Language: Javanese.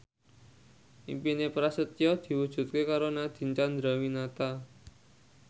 impine Prasetyo diwujudke karo Nadine Chandrawinata